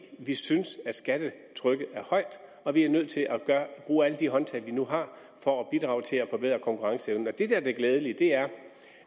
vi synes at skattetrykket er højt og vi er nødt til at bruge alle de håndtag vi nu har for at bidrage til at forbedre konkurrenceevnen det er det glædelige er